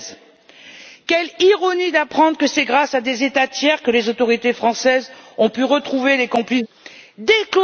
13. Quelle ironie d'apprendre que c'est grâce à des États tiers que les autorités françaises ont pu retrouver les complices des terroristes!